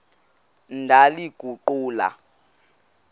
ndaliguqula